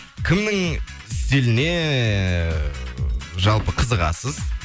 кімнің стиліне ы жалпы қызығасыз